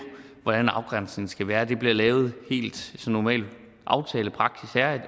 hvordan afgrænsningen skal være det bliver lavet helt som normal aftalepraksis er